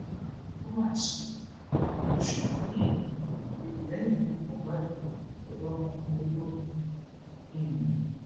ó mà ṣe oṣù um kejì lẹyìn ikú mohbad ọdọmọkùnrin olórin mi um